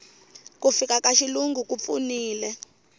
ku fika ka xilungu ku pfunile